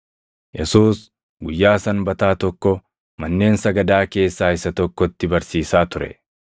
Yesuus guyyaa Sanbataa tokko manneen sagadaa keessaa isa tokkotti barsiisaa ture.